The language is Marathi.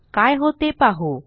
काय होते पाहू